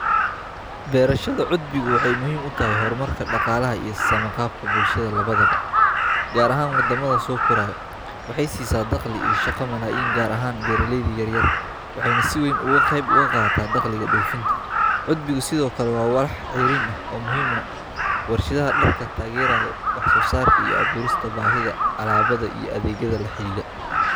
Beerta suufka waa mid kamid ah beero muhiimka ah ee dhaqaalaha Soomaaliya kaalin weyn ka qaata, gaar ahaan gobollada dhexe iyo kuwa koonfureed. Suufku waa geed dhir ah oo leh dhar cad oo jilicsan oo laga sameeyo maro iyo dhar kala duwan. Beeraha suufka waxaa lagu beeraa dhulka dhoobada iyo ciidda ah ee biyo fiican leh.